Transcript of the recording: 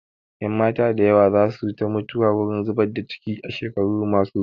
Ƴanmata da yawa za su ta mutuwa wurin zubar da ciki a shekaru ma su zuwa